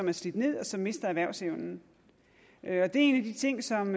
er slidt ned og som mister erhvervsevnen det er en af de ting som